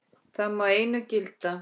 Það má einu gilda.